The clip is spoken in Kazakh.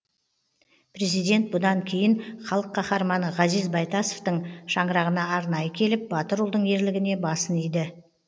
президент бұдан кейін халық қаһарманы ғазиз байтасовтың шаңырағына арнайы келіп батыр ұлдың ерлігіне басын иді